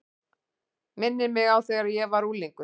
Minnir mig á þegar ég var unglingur.